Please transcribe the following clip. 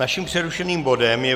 Našim přerušeným bodem je